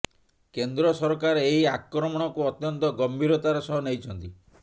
କେନ୍ଦ୍ର ସରକାର ଏହି ଆକ୍ରମଣକୁ ଅତ୍ୟନ୍ତ ଗମ୍ଭୀରତାର ସହ ନେଇଛନ୍ତି